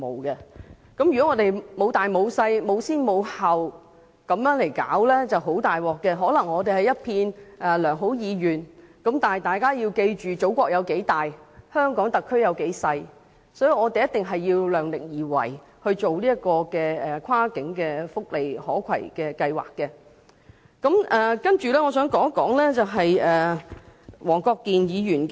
如果我們不分輕重先後來處理，便會出現很大問題，可能是空有良好意願，因為大家要記住祖國有多大，而香港特區又有多小，所以我們在進行跨境福利可攜計劃時必須量力而為。